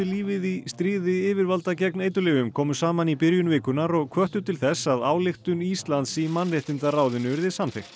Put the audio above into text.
lífið í stríði yfirvalda gegn eiturlyfjum komu saman í byrjun vikunnar og hvöttu til þess að ályktun Íslands í mannréttindaráðinu yrði samþykkt